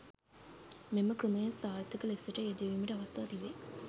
මෙම ක්‍රමය සාර්ථක ලෙසට යෙදවීමට අවස්ථා තිබේ.